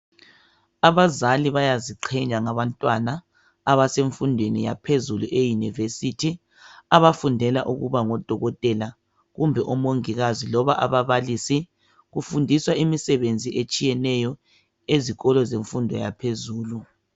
Abazali bayaziqhenya ngabantwana abasemfundweni yaphezulu eunviersity abafundela ukuba ngodokotela kumbe omongikazi. Kufundelwa imisebenzi etshiyeneyo ezikolo zemfundo yaphezulu